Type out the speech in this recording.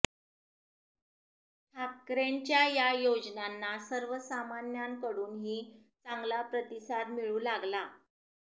ठाकरेंच्या या योजनांना सर्वसामान्यांकडून ही चांगला प्रतिसाद मिळू लागला